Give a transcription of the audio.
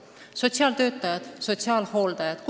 Räägin sotsiaaltöötajatest, sotsiaalhooldajatest.